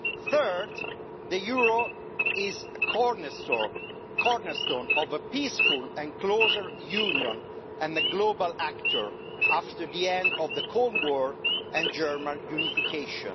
Third, the euro is a cornerstone of a peaceful and closer union and a global actor after the end of the Cold War and German unification.